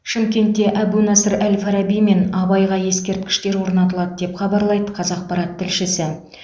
шымкентте әбу насыр әл фараби мен абайға ескерткіштер орнатылады деп хабарлайды қазақпарат тілшісі